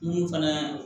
Mun fana